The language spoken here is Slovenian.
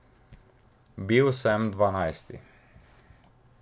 Bil sem dvanajsti.